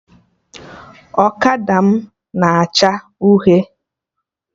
Ọkada m na acha uhie